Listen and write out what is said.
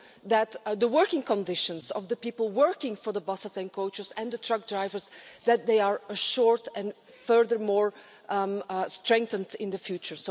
that the working conditions of the people working for the buses and coaches, and the truck drivers, are assured and furthermore strengthened in the future.